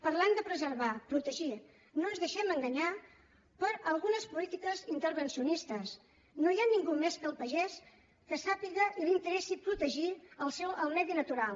parlant de preservar protegir no ens deixem enganyar per algunes polítiques intervencionistes no hi ha ningú més que el pagès que sàpiga i li interessi protegir el medi natural